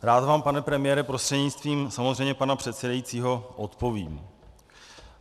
Rád vám, pane premiére, prostřednictvím samozřejmě pana předsedajícího odpovím.